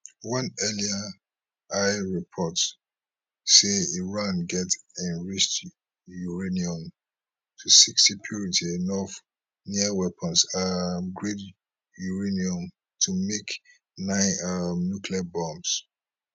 one earlier report say iran get enriched uranium to sixty purity enough near weapons um grade uranium to make nine um nuclear bombs